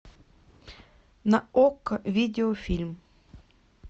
на окко видеофильм